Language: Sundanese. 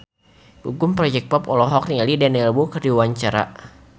Gugum Project Pop olohok ningali Daniel Wu keur diwawancara